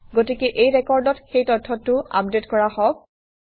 গতিকে এই ৰেকৰ্ডত সেই তথ্যটো আপডেট কৰা হওক